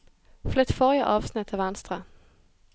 Flytt forrige avsnitt til venstre